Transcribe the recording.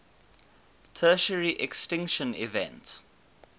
tertiary extinction event